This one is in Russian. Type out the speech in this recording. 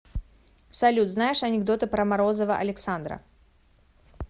салют знаешь анекдоты про морозова александра